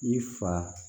I fa